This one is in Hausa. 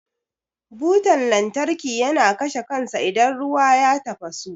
Butan lantarki yana kashe kansa idan ruwa ya tafasu.